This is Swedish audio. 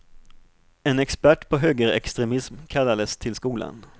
En expert på högerextremism kallades till skolan.